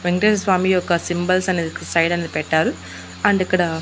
వెంకటేశుస్వామి యొక్క సింబల్స్ అనేది ఇక్కడ సైడ్ అనేది పెట్టారు అండ్ ఇక్కడ.